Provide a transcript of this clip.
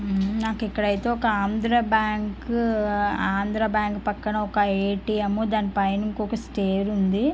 ఉమ్మ్ నాకు ఇక్కడ ఐతే ఒక ఆంధ్ర బ్యాంకు ఆంధ్రా బ్యాంకు పక్కన ఒక ఎ_టి_ఎం దాని పైన ఇంకొక స్టయిర్ ఉంది.